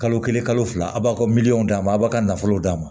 Kalo kelen kalo fila a b'a ka miliyɔn d'a ma a b'a ka nafolo d'a ma